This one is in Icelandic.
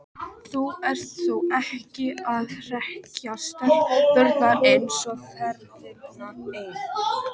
Þú ert þó ekki að hrekkja stelpurnar eina ferðina enn!